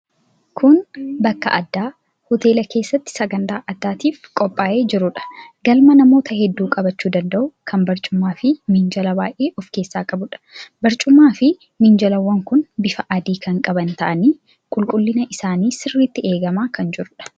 Kun bakka addaa hoteela keessatti sagantaa addaatiif qophaa'ee jirudha. Galma namoota hedduu qabachuu danda'u kan barcumaa fi minjaala baay'ee of keessaa qabuudha. Barcumaafi minjaalawwan kun bifa adii kan qaban ta'anii, qulqullinni isaanii sirriitti eegamee kan jiruudha.